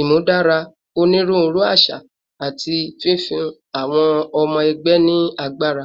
imudara oniruuru aṣa, ati fifun awọn ọmọ ẹgbẹ ni agbara